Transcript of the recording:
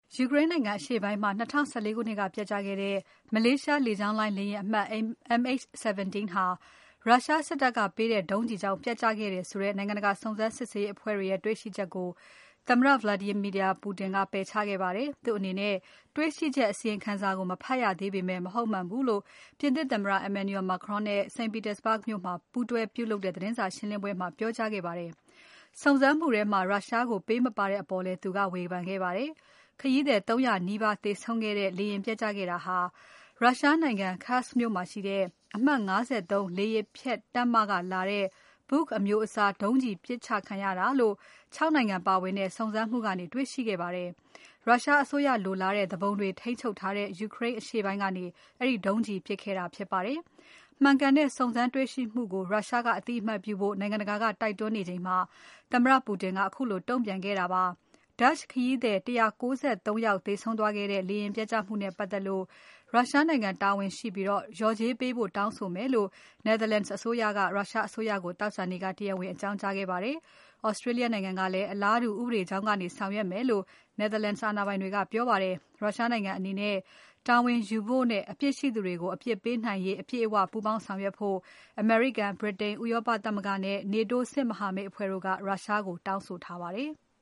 ယူကရိန်းနိုင်ငံအရှေ့ပိုင်းမှာ ၂၀၁၄ ခုနှစ်ကပျက်ကျခဲ့တဲ့ မလေးရှားလေကြောင်းလိုင်း လေယာဉ်အမှတ် MH17 ဟာ ရုရှားစစ်တပ်ကပေးတဲ့ ဒုံးကျည်ကြောင့် ပျက်ကျခဲ့တယ်ဆိုတဲ့ နိုင်ငံတကာစုံစမ်းစစ်ဆေးရေးအဖွဲ့ရဲ့ တွေ့ရှိချက်ကို သမ္မတ Vladimir Putin ကပယ်ချခဲ့ပါတယ်။ သူ့အနေနဲ့ တေ့ွရှိချက်အစီရင်ခံစာကို မဖတ်ရသေးပေမဲ့ မဟုတ်မှန်ဘူးလို့ ပြင်သစ်သမ္မတ Emmanuel Macron နဲ့ St. Petersburg မြို့မှာ ပူးတွဲပြုလုပ်တဲ့ သတင်းစာရှင်းပွဲမှာ ပြောကြားခဲ့ပါတယ်။ စုံစမ်းမှုထဲမှာ ရုရှားကို ပေးမပါတဲ့အပေါ်လည်း သူက ဝေဖန်ခဲ့ပါတယ်။ ခရီးသည် ၃ ရာနီးပါးသေဆုံးခဲ့တဲ့ လေယာဉ်ပျက်ကျခဲ့တာဟာ ရုရှားနိုင်ငံ Kursk မြို့မှာရှိတဲ့ အမှတ် ၅၃ လေယာဉ်ဖျက်တပ်မကလာတဲ့ Buk အမျိုးအစားဒုံးကျည် ပစ်ခံရတာလို့ ၆ နိုင်ငံပါဝင်တဲ့ စုံစမ်းမှုကနေ တေ့ွရှိခဲ့ပါတယ်။ ရုရှားအစိုးရလိုလားတဲ့သူပုန်တွေ ထိန်းချုပ်ထားတဲ့ ယူကရိန်းအရှေ့ပိုင်းကနေ အဲဒီ ဒုံးကျည် ပစ်ခဲ့တာ ဖြစ်ပါတယ်။ မှန်ကန်တဲ့ စုံစမ်းတွေ့ရှိမှုကို ရုရှားက အသိအမှတ်ပြုဖို့ နိုင်ငံတကာက တိုက်တွန်းနေချိန်မှာ သမ္မတ Putin ကတုံ့ပြန်ခဲ့တာဖြစ်ပါတယ်။ Dutch ခရီးသည် ၁၉၃ ယောက်သေဆုံးသွားတဲ့ လေယာဉ်ပျက်ကျမှုနဲ့ပါတ်သက်လို့ ရုရှားနိုင်ငံ တာဝန်ရှိပြီး လျှော်ကြေးပေးဖို့တောင်းဆိုမယ်လို့ Netherlands အစိုးရက ရုရှားအစိုးရကို သောကြာနေ့က တရားဝင်အကြောင်းကြားခဲ့ပါတယ်။ Australia နိုင်ငံကလည်း အလားတူ ဥပဒေကြောင်းကနေ ဆောင်ရွက်မယ်လို့ Netherlands အာဏာပိုင်တွေက ပြောပါတယ်။ ရုရှားနိုင်ငံအနေနနဲ့ တာဝန်ယူဖို့နဲ့ အပြစ်ရှိသူတွေကို အပြစ်ပေးနိုင်ရေး အပြည့်အဝ ပူးပေါင်းဆောင်ရွက်ဖို့ အမေရိကန်။ ဗြိတိန်။ ဥရောပသမဂ္ဂ နဲ့ NATO စစ်မဟာမိတ်အဖွဲ့တို့က ရုရှားကို တောင်းဆိုထားပါတယ်။